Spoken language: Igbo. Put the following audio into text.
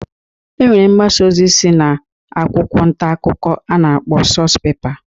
E nwere mgbasa osi si na akwụkwọ ntakụkọ a na-akpọ nuspepa.